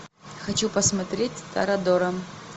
хочу посмотреть торадора